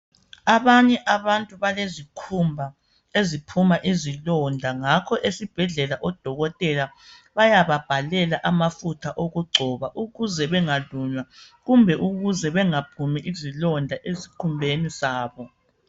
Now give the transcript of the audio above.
Abanye abantu balezikhumba eziphuma izilonda. Ngakho esibhedlela odokotela bayababhalela amafutha wokugcoba ukuze bengalunywa kumbe ukuze bengaphumi izilonda esikhumbeni sabo.